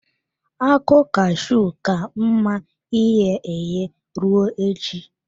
Akụ cashew ka mma ighe eghe, ruo echi.